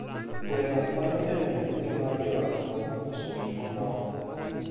Gweno konyo e medo yuto mar joot kuom uso gik moko.